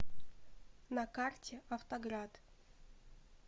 на карте автоград